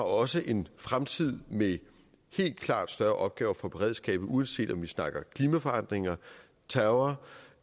også en fremtid med helt klart større opgaver for beredskabet uanset om vi snakker klimaforandringer terror